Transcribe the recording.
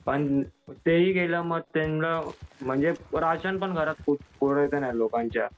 पण तेही गेलं मग त्यांना म्हणजे राशन घरात पण खूप लोकांच्या.